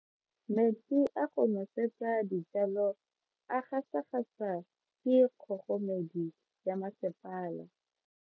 Metsi a go nosetsa dijalo a gasa gasa ke kgogomedi ya masepala.